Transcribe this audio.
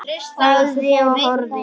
Þagði og horfði.